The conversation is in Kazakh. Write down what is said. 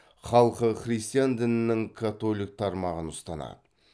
мемлекеттік тілі италия тілі